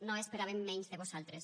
no esperàvem menys de vosaltres